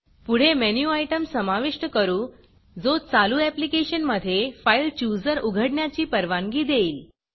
पुढे menu item समाविष्ट करू जो चालू ऍप्लिकेशनमधे FileChooserफाइलचुजर उघडण्याची परवानगी देईल